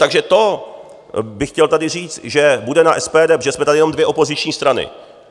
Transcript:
Takže to bych chtěl tady říct, že bude na SPD - protože jsme tady jenom dvě opoziční strany.